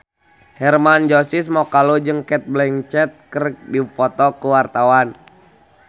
Hermann Josis Mokalu jeung Cate Blanchett keur dipoto ku wartawan